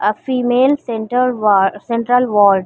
a female centre war central ward --